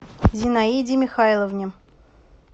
зинаиде михайловне